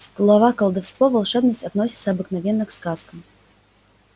слова колдовство волшебность относятся обыкновенно к сказкам